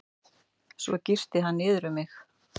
Svo girti hann niður um mig.